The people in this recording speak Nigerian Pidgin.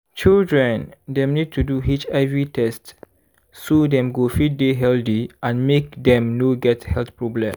children dem need to do hiv test so dem go fit dey healthy and make dem no get health problem